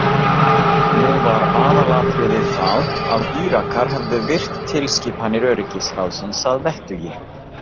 Nú var aðalatriðið það að Írakar hefðu virt tilskipanir Öryggisráðsins að vettugi.